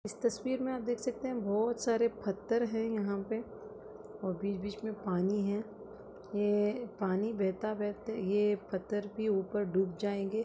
इस तस्वीर मे आप देख सकते है बहुत सारे पत्थर है यहाँ पे और बीच बीच मे पानी है यह पानी बहता बहता यह पत्थर भी ऊपर डूब जाएंगे।